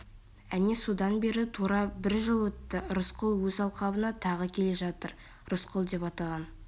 әне содан бері тура бір жыл өтті рысқұл өз алқабына тағы келе жатыр рысқұл деп атаған